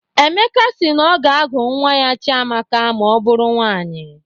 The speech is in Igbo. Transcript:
Emeka si na ọ ga-agụ nwa ya Chiamaka ma ọ bụrụ nwaanyị.